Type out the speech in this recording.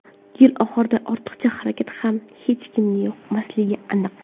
Yil oxirida ortiqcha xarajat ham hech kimga yoqmasligi aniq.